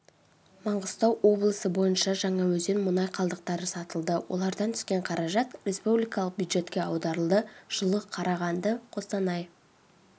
маңғыстау облысы бойынша жаңаөзен мұнай қалдықтары сатылды олардан түскен қаражат республикалық бюджетке аударылды жылы қарағанды қостанай